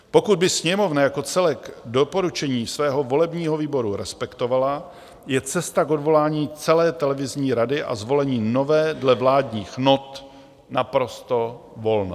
Pokud by Sněmovna jako celek doporučení svého volebního výboru respektovala, je cesta k odvolání celé televizní rady a zvolení nové dle vládních not naprosto volná.